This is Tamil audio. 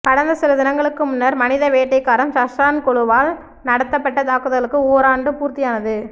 கடந்த சில தினங்களுக்கு முன்னர் மனித வேட்டைக்காரன் சஹ்ரான் குழுவால் நடாத்தப்பட்ட தாக்கதலுக்கு ஓராண்டு பூர்த்தியானது